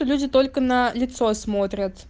люди только на лицо смотрят